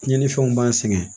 Tiɲɛnifɛnw b'an sɛgɛn